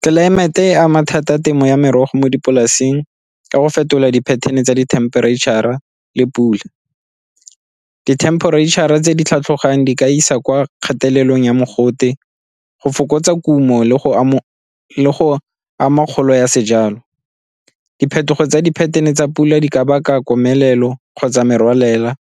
Tlelaemete e ama thata temo ya merogo mo dipolaseng ka go fetola di-pattern-e tsa di-temperature-ra le pula. Di-temperature-ra tse di tlhatlhogang di ka isa kwa kgatelelong ya mogote go fokotsa kumo le go ama kgolo ya sejalo. Diphetogo tsa di-pattern-e tsa pula di ka baka komelelo kgotsa merwalela,